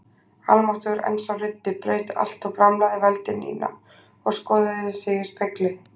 Almáttugur, en sá ruddi, braut allt og bramlaði vældi Nína og skoðaði sig í spegli.